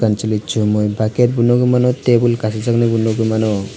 kansile somoi bucket bo nogoimano tebol kasijaknai nogoimano.